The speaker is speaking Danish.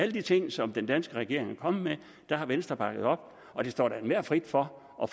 de ting som den danske regering er kommet med har venstre bakket op og det står da enhver frit for at